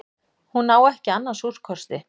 Hún á ekki annars úrkosti.